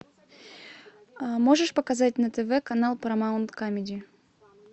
можешь показать на тв канал парамаунт камеди